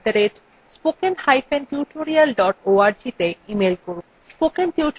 spoken tutorial talk to a teacher প্রকল্পের অংশবিশেষ